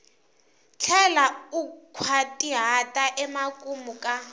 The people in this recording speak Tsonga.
tlhela u nkhwatihata emakumu ka